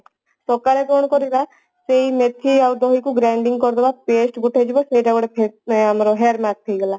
ସକାଳେ କଣ କରିବା ସେଇ ମେଥି ଆଉ ଦହିକୁ grinding କରିଦେବା ପେଷ୍ଟ ଗୋଟେ ହେଇଯିବା ସେଟା ଗୋଟେ face hair mask ଆମର ହେଇଗଲା